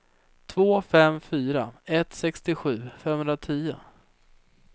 två fem fyra ett sextiosju femhundratio